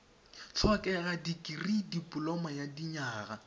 tlhokega dikirii dipoloma ya dinyaga